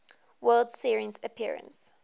world series appearance